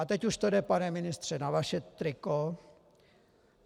A teď už to jde, pane ministře, na vaše triko.